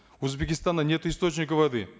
у узбекистана нет источника воды